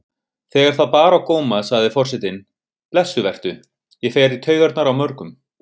Þegar það bar á góma sagði forsetinn: Blessuð vertu, ég fer í taugarnar á mörgum.